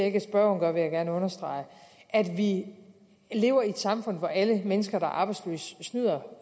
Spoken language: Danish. ikke at spørgeren gør vil jeg gerne understrege vi lever i et samfund hvor alle mennesker der er arbejdsløse snyder